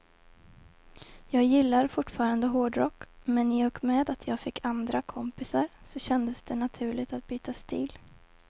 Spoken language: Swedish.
Jag gillar fortfarande hårdrock, men i och med att jag fick andra kompisar så kändes det naturligt att byta stil.